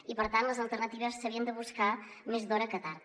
i per tant les alternatives s’havien de buscar més d’hora que tard